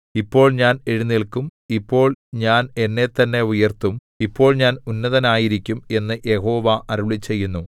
ഇപ്പോൾ ഞാൻ എഴുന്നേല്ക്കും ഇപ്പോൾ ഞാൻ എന്നെത്തന്നെ ഉയർത്തും ഇപ്പോൾ ഞാൻ ഉന്നതനായിരിക്കും എന്നു യഹോവ അരുളിച്ചെയ്യുന്നു